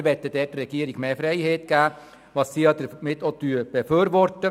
Wir wollen dort der Regierung mehr Freiheit geben, was diese auch befürwortet.